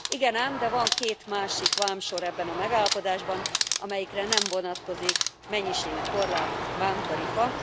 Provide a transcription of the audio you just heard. Igen ám, de van két másik vámsor ebben a megállapodásban, amelyikre nem vonatkozik mennyiségi korlát, vámtarifa.